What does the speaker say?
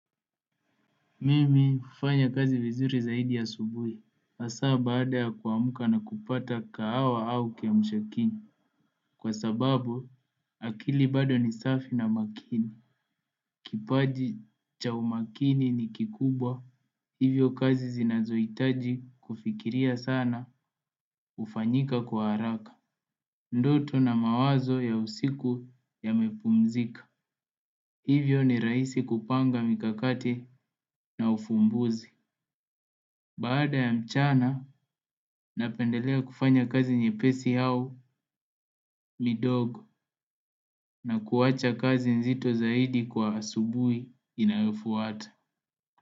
Mimi hufanya kazi vizuri zaidi asubuhi hasaa baada ya kuamuka na kupata kahawa au kiamshakinywa. Kwa sababu akili bado ni safi na makini. Kipaji cha umakini ni kikubwa. Hivyo kazi zinazohitaji kufikiria sana hufanyika kwa haraka. Ndoto na mawazo ya usiku yamepumzika. Hivyo ni rahisi kupanga mikakati na ufumbuzi. Baada ya mchana, napendelea kufanya kazi nyepesi au midogo na kuacha kazi nzito zaidi kwa asubuhi inayofuata.